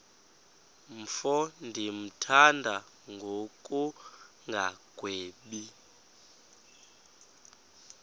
mfo ndimthanda ngokungagwebi